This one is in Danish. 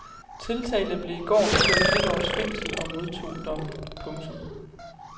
Tiltalte blev i går idømt et års fængsel og modtog dommen. punktum